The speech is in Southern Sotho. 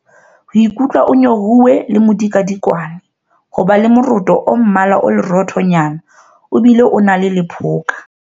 Ho ikutlwa o nyorilwe le modikadikwane. Ho ba le moroto o mmala o leroothonyana, o bile o na le lephoka.